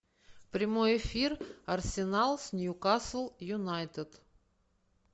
прямой эфир арсенал с ньюкасл юнайтед